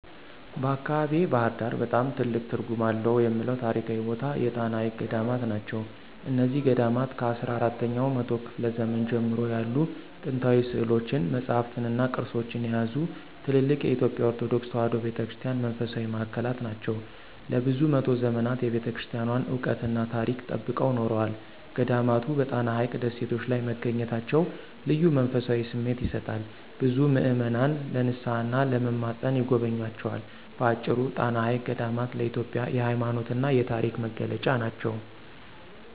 በአካባቢዬ (ባሕር ዳር) በጣም ትልቅ ትርጉም አለው የምለው ታሪካዊ ቦታ የጣና ሐይቅ ገዳማት ናቸው። እነዚህ ገዳማት ከአስራ አራተኛው መቶ ክፍለ ዘመን ጀምሮ ያሉ ጥንታዊ ሥዕሎችን፣ መጻሕፍትንና ቅርሶችን የያዙ ትልልቅ የኢትዮጵያ ኦርቶዶክስ ተዋሕዶ ቤተ ክርስቲያን መንፈሳዊ ማዕከላት ናቸው። ለብዙ መቶ ዘመናት የቤተክርስቲያኗን ዕውቀትና ታሪክ ጠብቀው ኖረዋል። ገዳማቱ በጣና ሐይቅ ደሴቶች ላይ መገኘታቸው ልዩ መንፈሳዊ ስሜት ይሰጣል፤ ብዙ ምዕመናን ለንስሓና ለመማፀን ይጎበኟቸዋል። በአጭሩ፣ ጣና ሐይቅ ገዳማት ለኢትዮጵያ የሃይማኖትና የታሪክ መገለጫ ናቸው።